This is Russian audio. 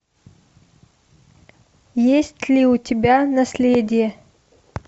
есть ли у тебя наследие